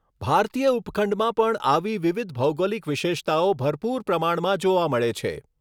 ભારતીય ઉપખંડમાં પણ આવી વિવિધ ભૌગોલિક વિશેષતાઓ ભરપુર પ્રમાણમાં જોવા મળે છે.